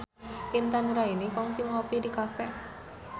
Intan Nuraini kungsi ngopi di cafe